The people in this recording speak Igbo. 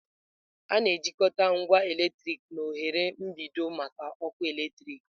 A na-ejikọta ngwa eletriki na oghere mgbidi maka ọkụ eletrik